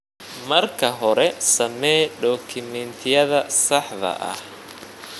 Marka hore, samee dukumentiyada saxda ah.